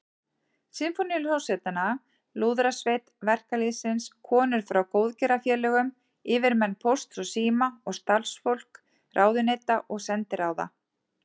Sinfóníuhljómsveitina, Lúðrasveit verkalýðsins, konur frá góðgerðarfélögum, yfirmenn Pósts og síma og starfsfólk ráðuneyta og sendiráða.